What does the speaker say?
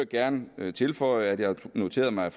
gerne tilføje at jeg noterede mig